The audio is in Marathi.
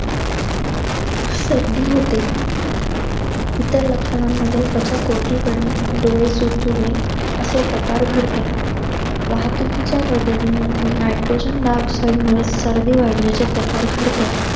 सर्दी होते. इतर लक्षणांमध्ये त्वचा कोरडी पडणे, डोळे चुरचुरणे असे प्रकार घडतात. वाहतुकीच्या ओढीमध्ये nitrogen dioxide मुळे सर्दी वाढण्याचे प्रकार घडतात.